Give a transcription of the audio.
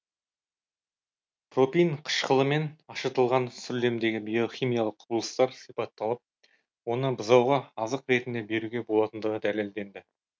пропин қышқылымен ашытылған сүрлемдегі биохимиялық құбылыстар сипатталып оны бұзауға азық ретінде беруге болатындығы дәлелденді